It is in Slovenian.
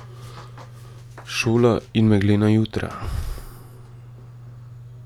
Šola in meglena jutra.